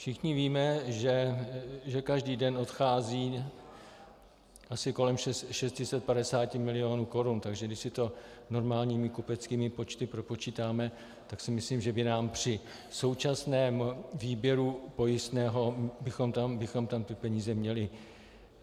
Všichni víme, že každý den odchází asi kolem 650 milionů korun, takže když si to normálními kupeckými počty propočítáme, tak si myslím, že by nám při současném výběru pojistného - bychom tam ty peníze měli.